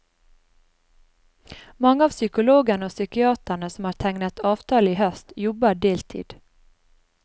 Mange av psykologene og psykiaterne som har tegnet avtale i høst, jobber deltid.